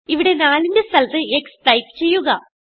ഇവിടെ 4ന്റെ സ്ഥലത്ത് x ടൈപ്പ് ചെയ്യുക